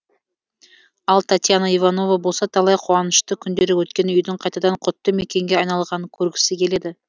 ал татьяна иванова болса талай қуанышты күндері өткен үйдің қайтадан құтты мекенге айналғанын көргісі келеді